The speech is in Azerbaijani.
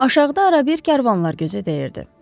Aşağıda arabir karvanlar gözə dəyirdi.